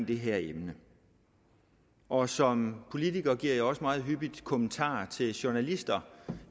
det her emne og som politiker giver jeg også meget hyppigt kommentarer til journalister